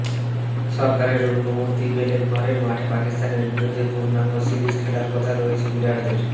সরকারের অনুমতি পেলে ঘরের মাঠে পাকিস্তানের বিরুদ্ধে পূর্ণাঙ্গ সিরিজ খেলার কথা রয়েছে বিরাটদের